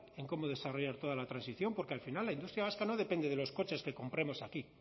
en cómo desarrollar toda la transición porque al final la industria vasca no depende de los coches que compremos aquí